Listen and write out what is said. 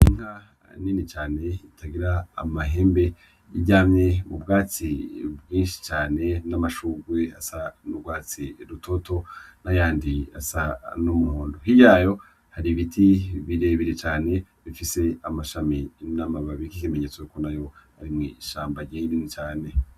Inka nini cane itagira amahembe iryamye m'ubwatsi bwishi cane n'amashurwe asa n'urwatsi rutoto n'ayandi asa n'umuhondo hirya yayo hari ibiti birebire cane bifise amashami n'amababi nk'ikimenyetso ko nayo ari mwishamba rinini cane.